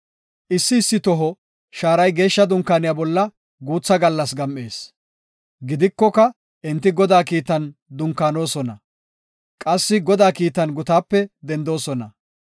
Issi issi toho shaaray Geeshsha Dunkaaniya bolla guutha gallas gam7ees. Gidikoka enti Godaa kiitan dunkaanosona; qassi Godaa kiitan gutaape dendoosona.